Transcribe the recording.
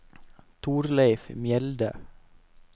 Torleif Mjelde